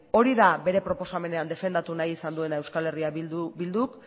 hori da bere proposamenean defendatu nahi izan duena euskal herria bilduk